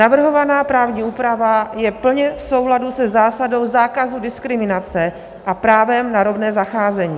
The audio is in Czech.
Navrhovaná právní úprava je plně v souladu se zásadou zákazu diskriminace a právem na rovné zacházení.